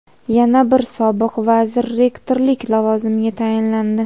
Yana bir sobiq vazir rektorlik lavozimiga tayinlandi.